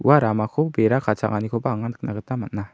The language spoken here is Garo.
ua ramako bera kachanganikoba anga nikna gita man·a.